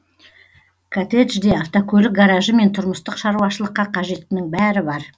коттеджде автокөлік гаражы мен тұрмыстық шаруашылыққа қажеттінің бәрі бар